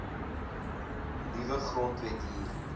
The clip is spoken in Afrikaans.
nuwe grondwet hier